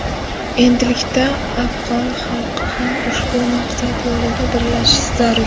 Endilikda afg‘on xalqi ham ushbu maqsad yo‘lida birlashishi zarur.